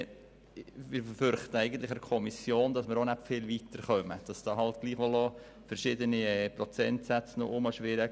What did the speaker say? Wir befürchten, dass man in der Kommission nicht viel weiter kommen würde, weil doch noch verschiedene Prozentsätze herumschwirren.